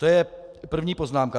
To je první poznámka.